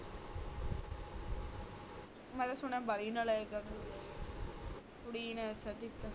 ਮੈਂ ਤਾ ਸੁਣਾ ਵਾਲੀ ਨਲਾਯਕ ਆ ਤੂੰ ਕੁੜੀ ਨੇ ਦਸਯਾ ਸੀ